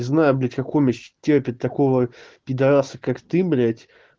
не знаю блять как он ещё терпит такого пидараса как ты блять